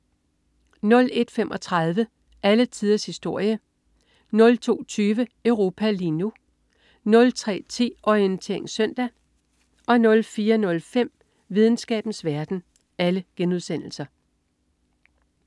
01.35 Alle tiders historie* 02.20 Europa lige nu* 03.10 Orientering Søndag* 04.05 Videnskabens verden*